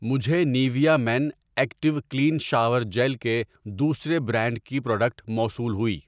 مجھے Nivea men active clean shower gel کے دوسرے برانڈ کی پراڈکٹ موصول ہوئی۔